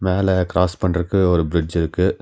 மேல கிராஸ் பன்றக்கு ஒரு பிரிட்ஜ் இருக்கு.